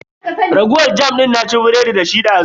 Raguwar jam din na ci biredi dashi dazu.